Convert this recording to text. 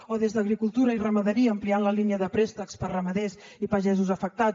o des d’agricultura i ramaderia ampliar la línia de préstecs per a ramaders i pagesos afectats